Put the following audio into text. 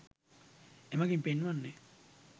එමගින් පෙන්වන්නේ